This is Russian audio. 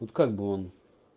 вот как бы он